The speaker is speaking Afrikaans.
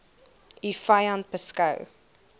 u vyand beskou